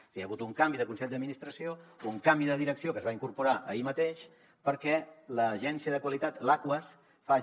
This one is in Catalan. és a dir hi ha hagut un canvi de consell d’administració un canvi de direcció que es va incorporar ahir mateix perquè l’agència de qualitat l’aquas faci